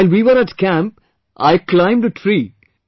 While we were at camp I climbed a tree